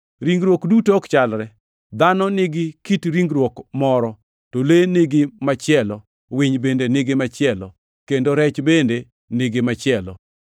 Ringruok duto ok chalre. Dhano nigi kit ringruok moro, to le nigi machielo, winy bende nigi machielo, kendo rech bende nigi machielo.